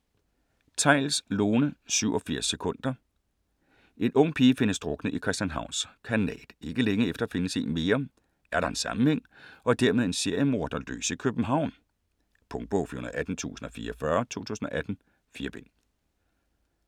Theils, Lone: 87 sekunder En ung pige findes druknet i Christianshavns Kanal. Ikke længe efter findes en mere. Er der en sammenhæng - og dermed en seriemorder løs i København? Punktbog 418044 2018. 4 bind.